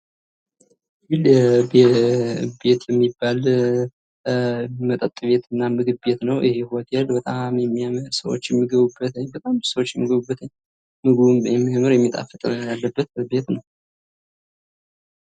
ይህ ሒል ቢልት የሚባለ ምግብ ቤት እና መጠጥ ቤት ነው። እና ይህ በጣም የሚያምር ሰዎች የሚገቡበት በጣም ስዎች የሚገቡበት ምግቡም የሚያምር እና የሚጣፍጥ ምግብ ያለበት ቤት ነው።